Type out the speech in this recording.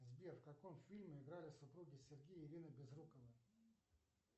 сбер в каком фильме играли супруги сергей и ирина безруковы